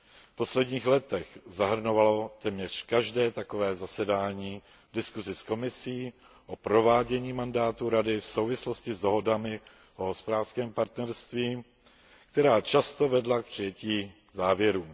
V posledních letech zahrnovalo téměř každé takové zasedání diskusi s Komisí o provádění mandátu Rady v souvislosti s dohodami o hospodářském partnerství, která často vedla k přijetí závěrů.